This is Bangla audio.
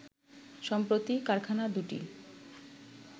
সম্প্রতি কারখানা দুটি